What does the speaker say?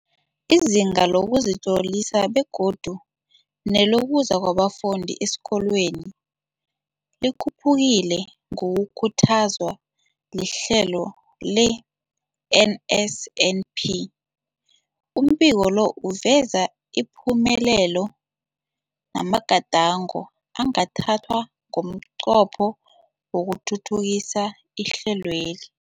Izinga lokuzitlolisa begodu nelokuza kwabafundi esikolweni likhuphukile ngokukhuthazwa lihlelo le-NSNP. Umbiko lo uveza ipumelelo namagadango angathathwa ngomnqopho wokuthuthukisa ihlelweli.